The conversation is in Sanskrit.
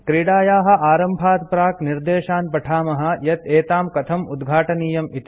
क्रीडायाः आरम्भात् प्राक् निर्देशान् पठामः यत् एतां कथं उद्घाटनीयम् इति